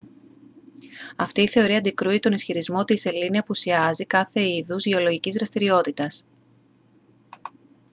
αυτή η θεωρεία αντικρούει τον ισχυρισμό ότι η σελήνη απουσιάζει κάθε είδους γεωλογικής δραστηριότητας